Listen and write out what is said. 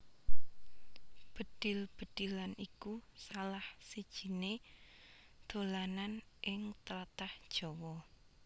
Bedhil bedhilan iku salah sijiné dolanan ing tlatah Jawa